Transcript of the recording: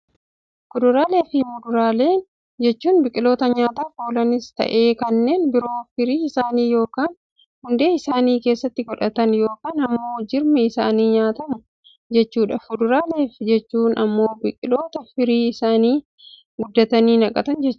Kuduraalee fi fuduraalee Kuduraalee jechuun biqiloota nyaataaf oolanis ta'ee kanneen biroo firii isaanii yookaan hundee isaanii keessatti godhatan, yookaan immoo jirmi isaanii nyaatamu jechuudha. Fuduraalee jechuun immoo biqiloota firii isaanii gubbatti naqatan jechuudha.